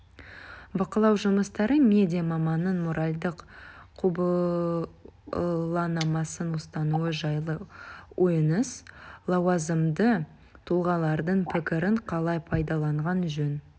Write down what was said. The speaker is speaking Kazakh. бақылау жұмыстары медиа маманның моральдық құбыланамасын ұстануы жайлы ойыңыз лауазымды тұлғалардың пікірін қалай пайдаланған жөн